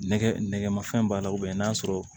Nɛgɛ nɛgɛmafɛn b'a la n'a sɔrɔ